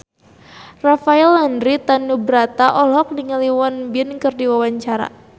Rafael Landry Tanubrata olohok ningali Won Bin keur diwawancara